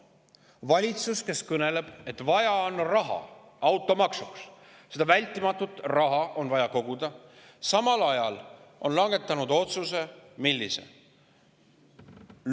Valitsus, kes kõneleb, et vaja on raha automaksust, vältimatult on vaja raha koguda, on langetanud samal ajal millise otsuse?